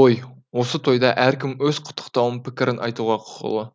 той осы тойда әркім өз құттықтауын пікірін айтуға құқылы